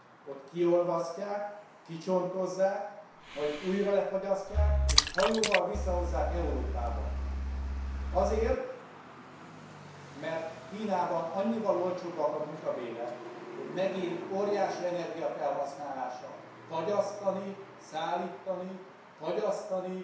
Ott kiolvasztják, kicsontozzák, majd újra lefagyasztják és hajóval visszahozzák Európába, azért mert Kínában annyival olcsóbbak a munkabérek, hogy megéri óriási energiafelhasználással fagyasztani, szállítani, fagyasztani